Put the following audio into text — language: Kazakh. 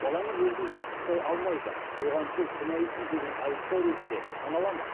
балаңыз өзін дұрыс ұстай алмайды оған сіз кінәлісіз деген айыптау ретінде санала ма